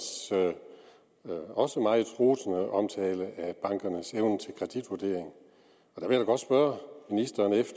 også meget rosende omtale af bankernes evne til kreditvurdering jeg vil godt spørge ministeren